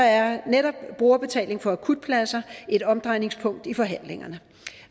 er netop brugerbetaling for akutpladser et omdrejningspunkt i forhandlingerne